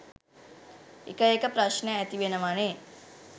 එක එක ප්‍රශ්න ඇති වෙනවනේ.